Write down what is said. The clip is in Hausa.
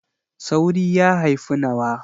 Sauri ya haifi nawa.